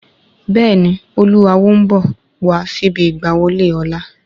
Bẹ́ẹ̀ni, Olú Awo n bọ̀ wá síbi ìgbà wọlé ọ̀la